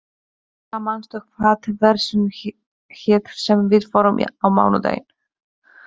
Fura, manstu hvað verslunin hét sem við fórum í á mánudaginn?